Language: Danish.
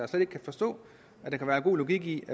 slet ikke kan forstå at der kan være god logik i